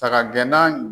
Saga gɛnna